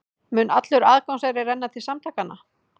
Mun allur aðgangseyrir renna til samtakanna